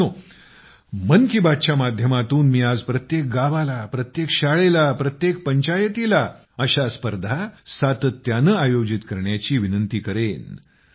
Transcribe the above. मित्रांनो मन की बात च्या माध्यमातून मी आज प्रत्येक गावाला प्रत्येक शाळेला प्रत्येक पंचायतीला अशा स्पर्धा सातत्याने आयोजित करण्याची विनंती करेन